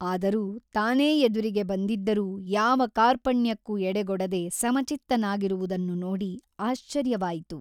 ಆದರೂ ತಾನೇ ಎದುರಿಗೆ ಬಂದಿದ್ದರೂ ಯಾವ ಕಾರ್ಪಣ್ಯಕ್ಕೂ ಎಡಗೊಡದೆ ಸಮಚಿತ್ತನಾಗಿರುವುದನ್ನು ನೋಡಿ ಆಶ್ಚರ್ಯವಾಯಿತು.